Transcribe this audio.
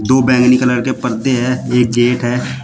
दो बैगनी कलर के पर्दे हैं एक गेट है।